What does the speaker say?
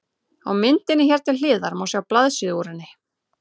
Á myndinni hér til hliðar má sjá blaðsíðu úr henni.